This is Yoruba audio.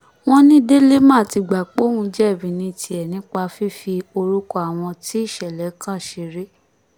wọ́n ní délé matti gbà pé òun jẹ̀bi ní tiẹ̀ nípa fífi orúkọ àwọn tí ìṣẹ̀lẹ̀ kan ṣeré